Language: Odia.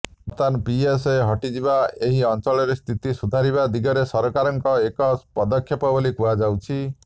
ବର୍ତ୍ତମାନ ପିଏସ୍ଏ ହଟାଯିବା ଏହି ଅଞ୍ଚଳରେ ସ୍ଥିତି ସୁଧାରିବା ଦିଗରେ ସରକାରଙ୍କର ଏକ ପଦକ୍ଷେପ ବୋଲି କୁହାଯାଉଛି